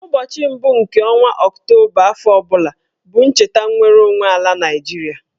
Ụbọchị mbụ nke ọnwa Ọktoba afọ ọbụla bụ ncheta nnwereonwe ala Naịjiria